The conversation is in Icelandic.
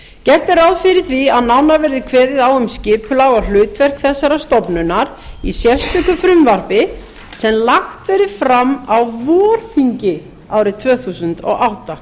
gert er ráð fyrir að nánar verði kveðið á um skipulag og hlutverk þessarar stofnunar í sérstöku frumvarpi sem lagt verði fram á vorþingi árið tvö þúsund og átta